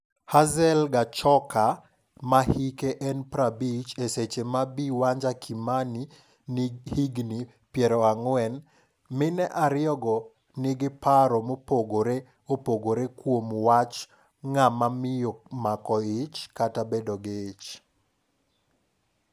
Hazel Gachoka ma hike en 50 e seche ma Bi Wanja Kimani ni higni piero ang'we. Mine ariyogo nigi paro mopogore opogorekuom wach ng'ama miyo mako ich kata bedo gi ich.